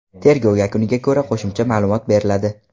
Tergov yakuniga ko‘ra qo‘shimcha ma’lumot beriladi.